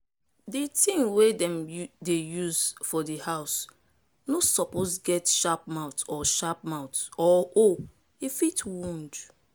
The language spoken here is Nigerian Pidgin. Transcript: di tin wey dem dey use for di house no suppose get sharp mouth or sharp mouth or hole e fit wound